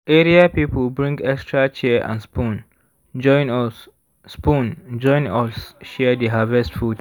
area people bring extra chair and spoon join us spoon join us share di harvest food.